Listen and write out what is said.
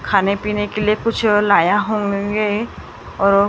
खाने पीने के लिए कुछ अ लाया होऊंगे और।